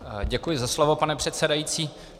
Děkuji za slovo, pane předsedající.